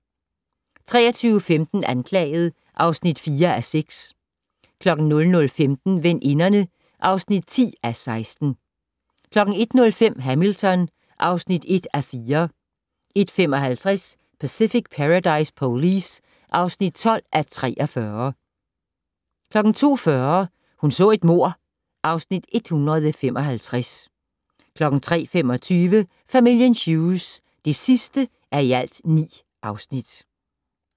23:15: Anklaget (4:6) 00:15: Veninderne (10:16) 01:05: Hamilton (1:4) 01:55: Pacific Paradise Police (12:43) 02:40: Hun så et mord (Afs. 155) 03:25: Familien Hughes (9:9)